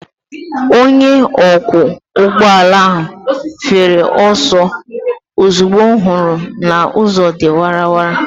Onye ọkwọ ụgbọala ahụ fere ọsọ ozugbo ọ hụrụ na ụzọ dị wara wara.